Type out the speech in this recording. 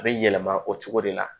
A bɛ yɛlɛma o cogo de la